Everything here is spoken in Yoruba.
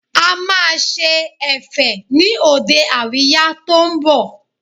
A máa ṣe Ẹ̀fẹ̀ ni òde àríyá tó ń bọ̀